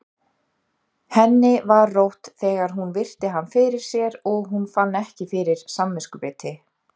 Henni var rótt þegar hún virti hann fyrir sér og hún fann ekki fyrir samviskubiti.